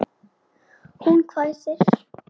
Hún hvæsir.